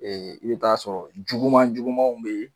Ee i bɛ t'a sɔrɔ juguman jugumanw bɛ yen